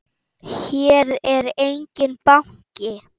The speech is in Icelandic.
Hér er enginn banki!